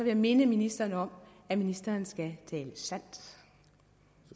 jeg minde ministeren om at ministeren skal